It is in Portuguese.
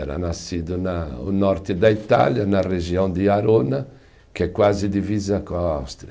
Era nascido na, o norte da Itália, na região de Arona, que é quase divisa com a Áustria.